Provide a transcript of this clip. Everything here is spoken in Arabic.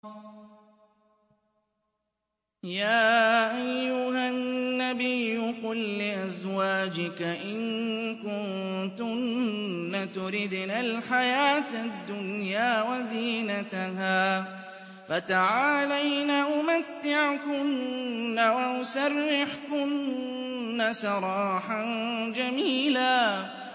يَا أَيُّهَا النَّبِيُّ قُل لِّأَزْوَاجِكَ إِن كُنتُنَّ تُرِدْنَ الْحَيَاةَ الدُّنْيَا وَزِينَتَهَا فَتَعَالَيْنَ أُمَتِّعْكُنَّ وَأُسَرِّحْكُنَّ سَرَاحًا جَمِيلًا